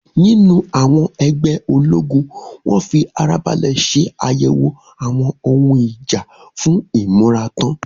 In the garrison, ammunition was carefully inspected for readiness.